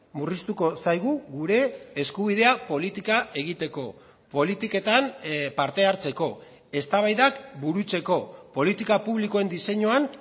murriztuko zaigu gure eskubidea politika egiteko politiketan parte hartzeko eztabaidak burutzeko politika publikoen diseinuan